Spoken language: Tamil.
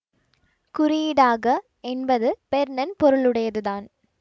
குறியீடாக என்பது பெர்ன்ன் பொருளுடையதுதான்